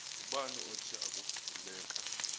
ngubani othe akuvuleka